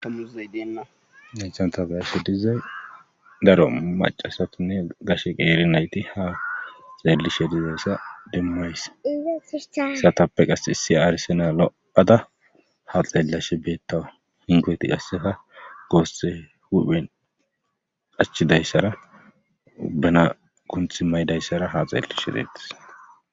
Muzay deela naychantabeashe dizay daro macasatinne gashe qeeri nayti ha xeellishe dizayssa demmays satappe qas issi aarisena lo'ada ha xeellashe beetta hingoti qassefa goosse huphen qachidayssara bana gunthi maydayssara ha xeellishe deettis.